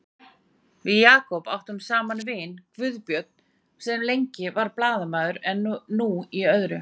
Við Jakob áttum annan vin, Guðbjörn, sem lengi var blaðamaður en er nú í öðru.